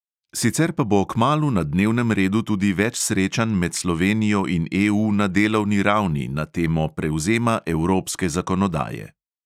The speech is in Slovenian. Sicer pa bo kmalu na dnevnem redu tudi več srečanj med slovenijo in EU na delovni ravni na temo prevzema evropske zakonodaje.